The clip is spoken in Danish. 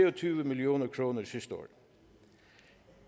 og tyve million kroner sidste år